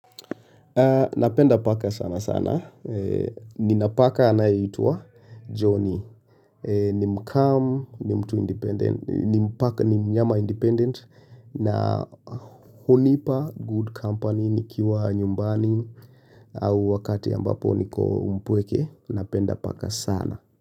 Napenda paka sana sana. Ninapaka anayeitwa Johnny. Ni mcalm, ni mtu independent, ni mpaka ni mnyama independent na hunipa good company nikiwa nyumbani au wakati ambapo niko mpweke. Napenda paka sana.